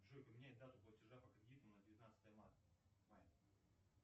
джой поменяй дату платежа по кредиту на девятнадцатое марта мая